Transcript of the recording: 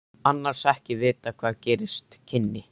Annars ekki að vita hvað gerast kynni.